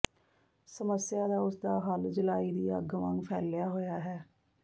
ਸਮੱਸਿਆ ਦਾ ਉਸ ਦਾ ਹੱਲ ਜਲ੍ਹਾਈ ਦੀ ਅੱਗ ਵਾਂਗ ਫੈਲਿਆ ਹੋਇਆ ਹੈ